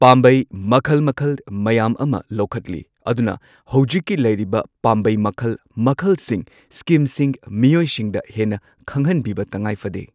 ꯄꯥꯝꯕꯩ ꯃꯈꯜ ꯃꯈꯜ ꯃꯌꯥꯝ ꯑꯃ ꯂꯧꯈꯠꯂꯤ꯫ ꯑꯗꯨꯅ ꯍꯧꯖꯤꯛꯀꯤ ꯂꯩꯔꯤꯕ ꯄꯥꯝꯕꯩ ꯃꯈꯜ ꯃꯈꯜꯁꯤꯡ ꯁ꯭ꯀꯤꯝꯁꯤꯡ ꯃꯤꯌꯣꯏꯁꯤꯡꯗ ꯍꯦꯟꯅ ꯈꯪꯍꯟꯕꯤꯕ ꯇꯉꯥꯏ ꯐꯗꯦ꯫